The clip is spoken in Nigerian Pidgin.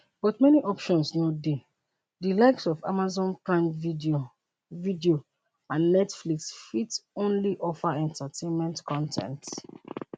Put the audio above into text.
but many options no dey di likes of amazon prime video video and netflix fit only offer entertainment con ten ts